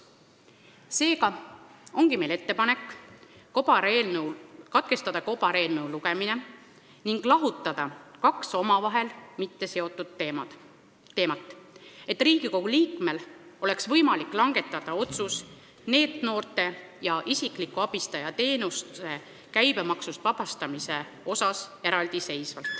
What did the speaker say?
Seega ongi meil ettepanek katkestada kobareelnõu teine lugemine ning lahutada kaks omavahel mitteseotud teemat, et Riigikogu liikmel oleks võimalik langetada eraldiseisvad otsused NEET-noorte ja isikliku abistaja teenuse käibemaksust vabastamise kohta.